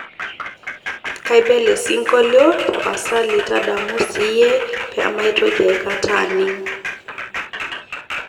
kaiba ele singolio tapasali tadamu siiyie pee maitoki aikata aining'